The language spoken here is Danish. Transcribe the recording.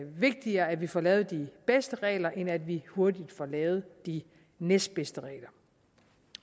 vigtigere at vi får lavet de bedste regler end at vi hurtigt får lavet de næstbedste regler